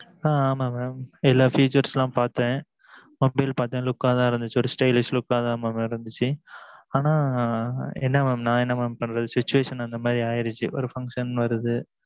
ஆ ஆமாம் mam எல்லாம் features பாத்தேன் appeal லாம் பாத்தேன் look தான் இருந்திச்சி ஒரு stylish தான் இருந்திச்சி ஆனா நா என்ன பண்ணுறது situation அந்த மாறி ஆகிடுச்சி function ஓரு வருது